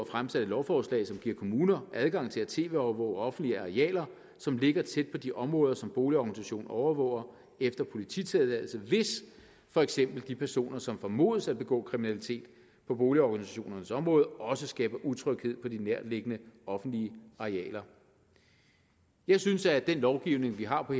fremsat et lovforslag der giver kommuner adgang til at tv overvåge offentlige arealer som ligger tæt på de områder som boligorganisationen overvåger efter polititilladelse hvis for eksempel de personer som formodes at begå kriminalitet på boligorganisationens område også skaber utryghed på de nærtliggende offentlige arealer jeg synes at den lovgivning vi har